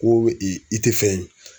Ko i tɛ fɛn ye.